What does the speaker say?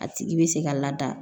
A tigi bɛ se ka lada